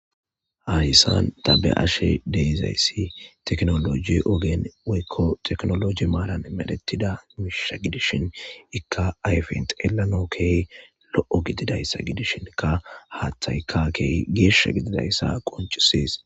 hayssan t be'ashe de'izayssi teknoloji ogen weykko teknoloji maaran medetida miisha gidishin ikka ayfent elano ke lo7o gididayssa gidishinkka haaththaykka ke geesha gididayssa qoncisees